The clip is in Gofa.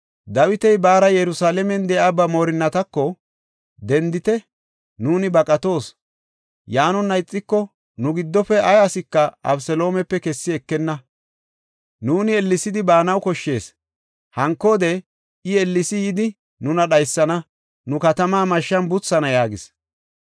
Dawiti baara Yerusalaamen de7iya ba moorinnatako, “Dendite! Nuuni baqatoos! Yaanona ixiko, nu giddofe ay asika Abeseloomepe kessi ekenna. Nuuni ellesidi baanaw koshshees; hankoode, I ellesi yidi nuna dhaysana; nu katama mashshan buthana” yaagis.